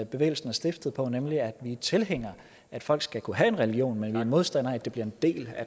bevægelser er stiftet på nemlig at vi er tilhængere af at folk skal kunne have en religion men vi er modstandere af at det bliver en del